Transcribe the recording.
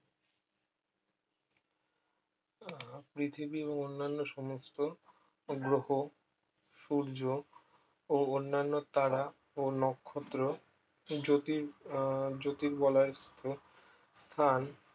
আহ পৃথিবী এবং অন্যান্য সমস্ত গ্রহ সূর্য ও অন্যান্য তারা ও নক্ষত্র জ্যোতি আহ জ্যোতির্বলয় সূত্র স্থান